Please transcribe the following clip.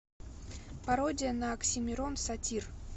пародия на оксимирон сатир